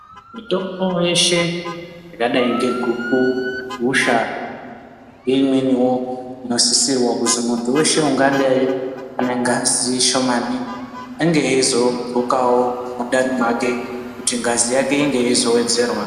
Mitombo yeshe yakadai ngeguku, gusha neimweniwo inosisirwa kuzi mutu weshe ungadi ane ngazi shomani ange eizogokawo mundani make kuti ngazi inge yeizowedzerwa.